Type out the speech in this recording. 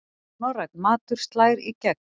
Norrænn matur slær í gegn